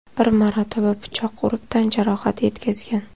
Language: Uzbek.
bir marotaba pichoq urib tan-jarohati yetkazgan.